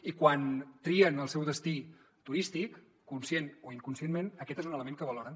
i quan trien el seu destí turístic conscient o inconscientment aquest és un element que valoren